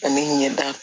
Ani ɲɛda